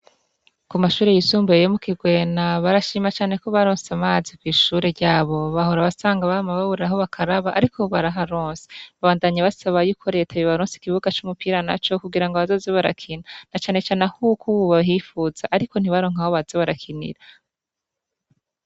Kumashure yisumbuye yo mukigwena barashima cane kobararose amazi kw'ishuri ryabo bahora usanga bama babura aho bakaraba ariko ubu baraharose. Babandanya basaba yuko reta yobaronsa ikibuga c'umupira naco kugirango bazoze barakina nacanecane ahuko ubu bahipfuza ariko ntibaronke ahobaza barakinira.